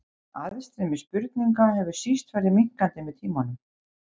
Aðstreymi spurninga hefur síst farið minnkandi með tímanum.